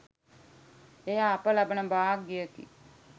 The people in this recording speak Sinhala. එය අප ලබන භාග්‍යයෙකි.